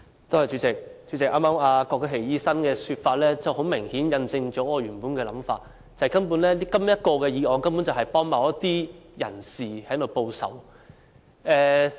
主席，剛才郭家麒醫生的說法很明顯印證了我原本的想法，即這項議案根本是幫助某些人士報仇。